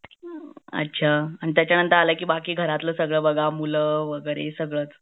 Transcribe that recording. अच्छा त्याचानंतर आला की बाकी सगळं बघा घरातला मुलं वगैरे सगळंच